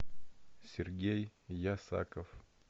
сергей ясаков